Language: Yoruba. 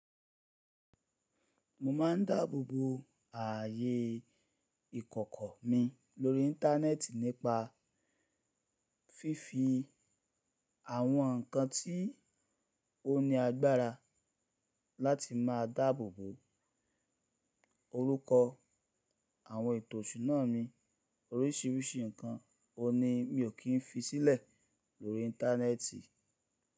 Mo ma n dáàbòbo ààyè ìkọ̀kọ̀ mi lórí íńtánẹ́ẹ̀tì nípa fífi àwọn nǹkan tí ó ní agbára láti má a dáàbòbo orúkọ àwọn ètò ìṣúná mi. Oríṣìíríṣìí nǹkan òní mi ò kí n fi sílẹ̀ lórí íńtánẹ́ẹ̀tì.